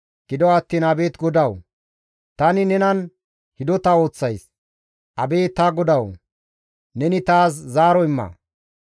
Gido attiin abeet GODAWU! Tani nenan hidota ooththays; Abeet ta GODAWU! Neni taas zaaro imma.